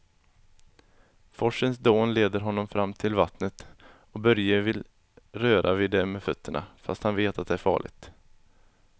Forsens dån leder honom fram till vattnet och Börje vill röra vid det med fötterna, fast han vet att det är farligt.